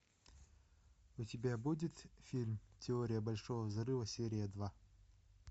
у тебя будет фильм теория большого взрыва серия два